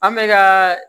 An bɛ ka